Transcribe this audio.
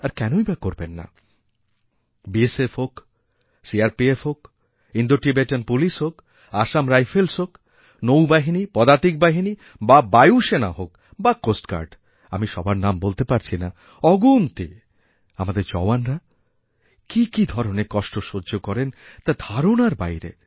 আর কেনই বা করবেন না বিএসএফ হোকসিআরপিএফ হোক ইন্দোটিবেটান পুলিশ হোক আসাম রাইফেল্স হোক নৌবাহিনী পদাতিকবাহিনী বা বায়ুসেনা হোক বা কোস্ট গার্ড আমি সবার নাম বলতে পারছি না অগুনতি আমাদের জওয়ানরা কী কী ধরনের কষ্ট সহ্য করেন তা ধারণার বাইরে